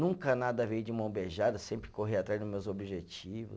Nunca nada veio de mão beijada, sempre corri atrás dos meus objetivos.